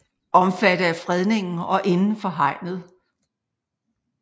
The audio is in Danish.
Omfattet af fredningen og indenfor hegnet